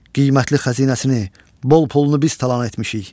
Qiymətli xəzinəsini, bol pulunu biz talan etmişik.